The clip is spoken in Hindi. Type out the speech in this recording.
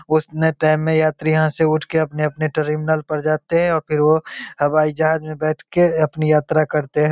उतने टाइम में यात्री यहाँ से उठ के अपने-अपने टर्मिनल पर जाते हैं और फिर वो हवाई जहाज में बैठ के अपनी यात्रा करते है।